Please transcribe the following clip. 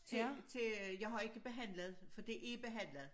Til til øh jeg har ikke behandlet for det er behandlet